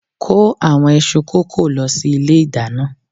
kó àwọn iṣu kókò lọ sí ilé ìdáná.